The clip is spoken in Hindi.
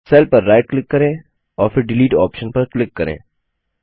सेल पर राइट क्लिक करें और फिर डिलीट ऑप्शन पर क्लिक करें